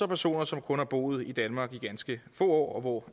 personer som kun har boet i danmark i ganske få år og